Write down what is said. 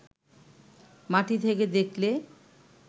মাটি থেকে দেখলে